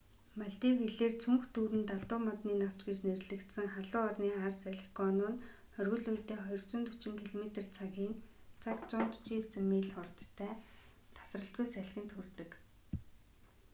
малдив хэлээр цүнх дүүрэн далдуу модны навч гэж нэрлэгдсэн халуун орны хар салхи гону нь оргил үедээ 240 километр цагийн цагт 149 миль хурдтай тасралтгүй салхинд хүрдэг